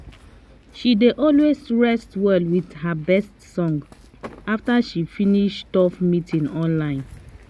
she dey always rest well with her best songs after she finish tough meeting online